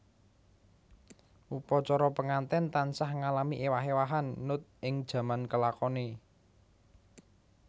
Upacara penganten tansah ngalami ewah ewahan nut ing jaman kelakone